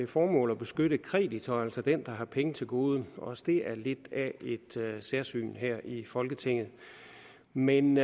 formål at beskytte kreditor altså den der har penge til gode også det er lidt af et særsyn her i folketinget men